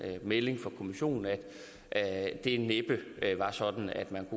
melding fra kommissionen at det næppe var sådan at man